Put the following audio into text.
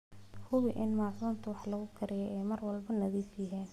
Hubi in maacuunta wax lagu kariyo ay mar walba nadiif yihiin.